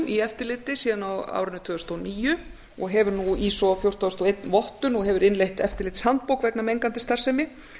í eftirliti síðan á árinu tvö þúsund og níu stofnunin hefur iso fjórtán þúsund og einn vottun og hefur innleitt eftirlitshandbók vegna mengandi starfsemi